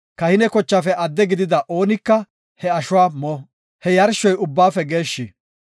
Kahine kochaafe adde gidida oonika he ashuwa mo; he yarshoy ubbaafe geeshshi.